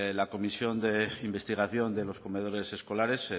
la comisión de investigación de los comedores escolares